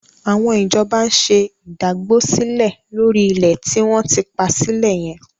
Àwọn ìjọba ń ṣe ìdágbósílẹ̀ lórí ilẹ̀ tí wọ́n ti pa sílẹ̀ yẹn.